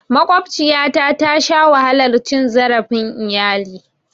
Maƙwabciyata tasha wahalar cin zarafin iyali.